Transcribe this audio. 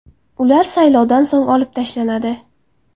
Ular saylovdan so‘ng olib tashlanadi.